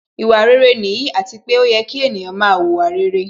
Ìwà rere nìyí, àti pé ó yẹ kí ènìyàn máa wùwà rere